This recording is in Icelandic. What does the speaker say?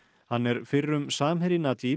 hann er fyrrum samherji